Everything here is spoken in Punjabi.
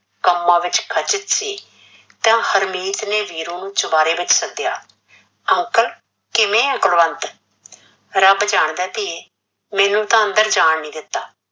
ਕੰਮਾ ਵਿੱਚ ਖਚਿੱਤ ਸੀ, ਤਾਂ ਹਰਮੀਤ ਨੇ ਵੀਰੂ ਨੂੰ ਚੁਬਾਰੇ ਵਿੱਚ ਸੱਦਿਆ, uncle ਕਿਵੇ ਆ ਕੁਲਵੰਤ ਰੱਬ ਜਾਣਦਾ ਧੀਏ ਮੈਂਨੂੰ ਤਾਂ ਅੰਦਰ ਜਾਣ ਨੀ ਦਿੱਤਾ,